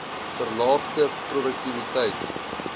verlaagde p roduktiwiteit